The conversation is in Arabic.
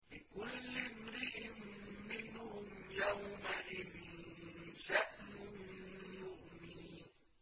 لِكُلِّ امْرِئٍ مِّنْهُمْ يَوْمَئِذٍ شَأْنٌ يُغْنِيهِ